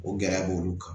O gɛlɛya b'olu kan